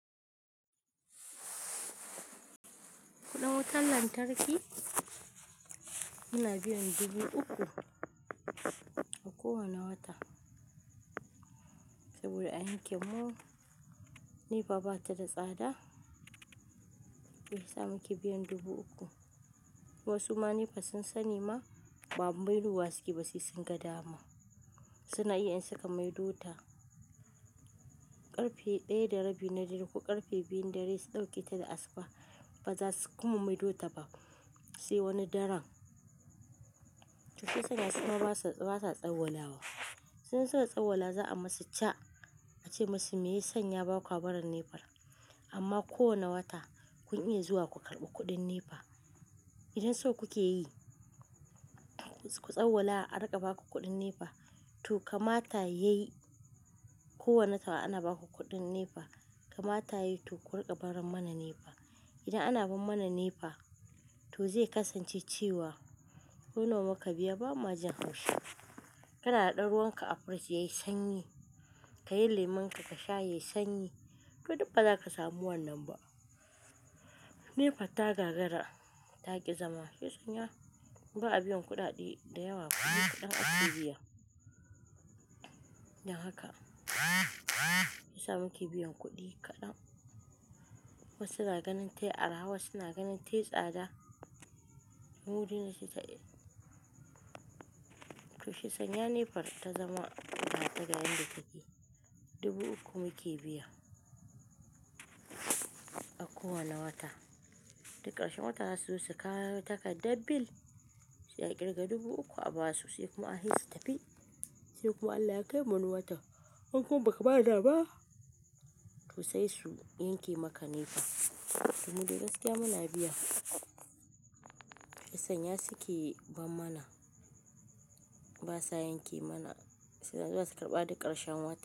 Kuɗin wutan lantarki muna biyan dubu uku a kowane wata. Saboda aka mu, NEPA bata da tsada, shi yasa muke biyan dubu uku. Wasu ma NEPA sun sani ma, ba mayar wa su keɓa se sun ga dama. Su na iya in sunka maido ta, karbe daya darebi na dare ko karbe biyun dare su dahoke ta da asuba, baza su kuma maido ta ba sai wani daren. Toshi yasa tsuma basu, basu tsawwalawa. Sun saba tsawwala za a masu cha, ace masu me ya sanya a bakua barin NEPA. Amma ko wane wata kun iya zuwa ku karɓi kuɗin NEPA. Idan so kuke yi, ku tsawwala a riƙa baku kuɗin NEPA. To kama ta yayi, ko wane wata ana baku kuɗin NEPA, kama ta yayi to ku riƙa baron mana NEPA. Idan ana bar mana NEPA to zai kasance cewa, ko nawa muka biya ba ma jin haushi. Kana daɗa ruwan ka a firij yayi sanyi, ka yi lemun ka ka sha yayi sanyi. To duk ba zaka samu wannan ba. NEPA ta gagara ta ƙi zama. Yau sanya ba a biyan kuɗaɗe da yawa, kuɗi kaɗan ake biya. Dan haka, yasa muke biyan kuɗi kaɗan. Wasu na ganin tayi arahawa, suna ganin tayi tsada. Mudu yana cika. Toshi sanya NEPA ta zama ta ƙirga yanda take. Dubu uku muke biya a kowane wata. Duk ƙarshen wata za su kawo taka dabil, su ƙirga dubu uku a basu, sai kuma a he su tafi. Sai kuma Allah ya kai mana wata, hin kuma ba ka bada ba. To se su yanke maka Nepa domin da gaskiya muna biya. Sanya su ke ban mana, basu a yanke mana. Suna zuwa su karɓa duk ƙarshen wata.